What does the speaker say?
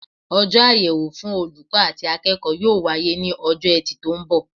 Ojó àyèwò fun olùkó àti akéèkó yóò wáyé ní ojó etì tó n bò